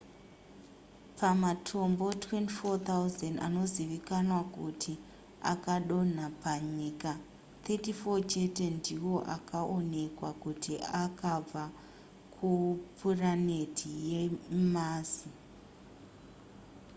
pamatombo 24,000 anozivikanwa kuti akadonha panyika 34 chete ndiwo akaonekwa kuti akabva kupuraneti yemazi